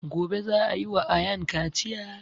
Gobe za a yi wa ayaan kaciya